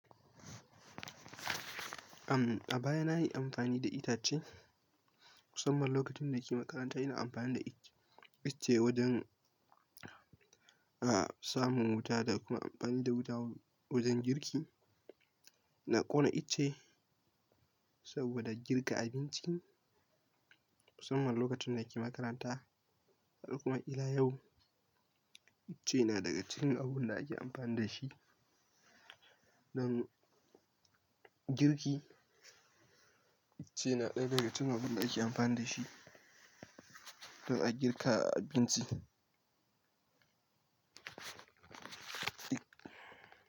Ahm, a baya na yi amfani da itace, musamman lokacin da ke makaranta ina amfani da it, icce wajen, a samun wuta da kuma amfani da wuta wajen girki. Na ƙona icce saboda girka abinci musamman lokacin da ke makaranta har kuma iya yau icce na daga cikin abun da ake amfani da shi don girki. Ice na ɗaya daga cikin abun da ake amfani da shi don a girka abinci.